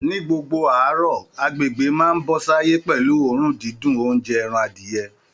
Ní gbogbo àárọ̀, agbègbè máa ń bọ́ sáyé pẹ̀lú oòrùn dídùn oúnjẹ ẹran adìyẹ